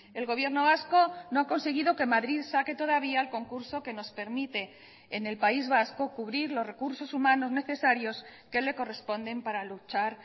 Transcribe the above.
el gobierno vasco no ha conseguido que madrid saque todavía el concurso que nos permite en el país vasco cubrir los recursos humanos necesarios que le corresponden para luchar